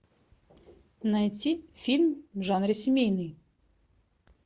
найти фильм в жанре семейный